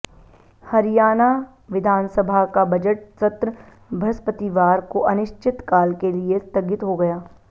हरियाणा विधानसभा का बजट सत्र बृहस्पतिवार को अनिश्चितकाल के लिए स्थगित हो गया